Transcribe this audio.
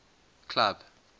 club